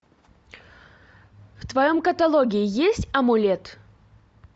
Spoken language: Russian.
в твоем каталоге есть амулет